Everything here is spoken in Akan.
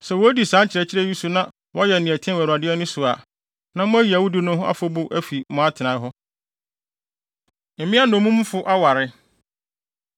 Sɛ wodi saa nkyerɛkyerɛ yi so na wɔyɛ nea ɛteɛ wɔ Awurade ani so a, na moayi awudi no ho afɔbu afi mo atenae hɔ. Mmea Nnommumfo Aware